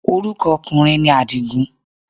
Orúkọ ọkùnrin ni Àdìgún